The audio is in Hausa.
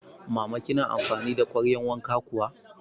Mama kina amfani da kwaryan wanka kuwa?